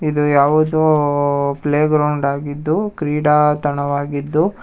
ಇದು ಯಾವುದೋ ಓ- ಪ್ಲೇ ಗ್ರೌಂಡ್ ಆಗಿದ್ದು ಕ್ರೀಡಾತಣ ವಾಗಿದ್ದು--